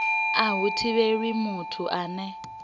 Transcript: a hu thivheli muthu ane